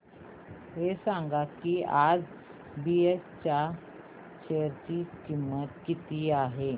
हे सांगा की आज बीएसई च्या शेअर ची किंमत किती आहे